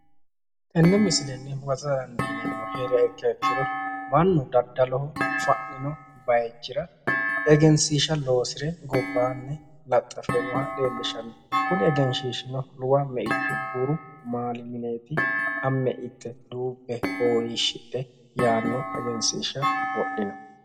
Tine misilenni huwatta dandiineemmmori heeriro mannu daddalu basera sagalete mine fa'ninotta egensiisate fushino Egenshiishshati isino luwa maaluna sagalete mine yaanoho